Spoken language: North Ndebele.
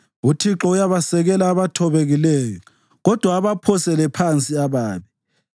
UThixo uyabasekela abathobekileyo kodwa abaphosele phansi ababi.